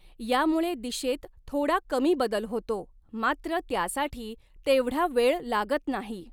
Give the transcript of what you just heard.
यामुळे दिशेत थोडा कमी बदल होतो, मात्र त्यासाठी तेव्हढा वेळ लागत नाही.